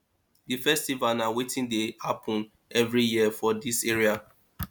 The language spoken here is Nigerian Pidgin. di festival na weti dey happen every year for dis area